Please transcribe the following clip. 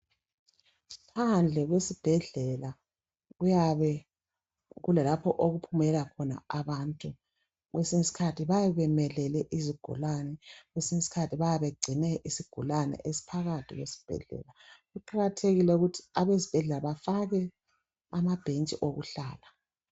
Phandle kwesibhedlela kuyabe kulalapho okuphumela khona abantu kwesinye isikhathi bayabe bemelele izigulane kwesinye isikhathi bayabe begcine isigulane esiphakathi esibhedlela kuqakathekile ukuthi abesibhedlela bafake ama bentshi okuhlala